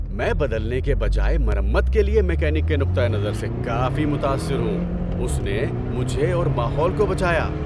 میں بدلنے کے بجائے مرمت کے لیے میکینک کے نقطہ نظر سے کافی متاثر ہوں۔ اس نے مجھے اور ماحول کو بچایا۔